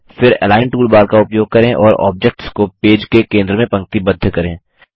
फिर align toolbar का उपयोग करें और ऑब्जेक्ट्स को पेज के केंद्र में पंक्तिबद्ध करें